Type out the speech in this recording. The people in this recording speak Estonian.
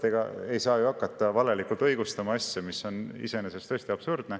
Ega ei saa ju hakata valelikult õigustama asja, mis on iseenesest täiesti absurdne.